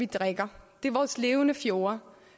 drikker det er vores levende fjorde